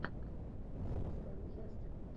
запускай ужастик